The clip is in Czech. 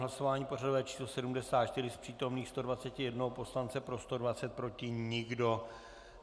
Hlasování pořadové číslo 74, z přítomných 121 poslanců, pro 120, proti nikdo.